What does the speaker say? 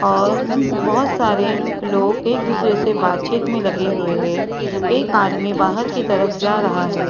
और बहुत सारे लोग एक दूसरे से बातचीत में लगे हुए हैं एक आदमी बाहर की तरफ जा रहा है।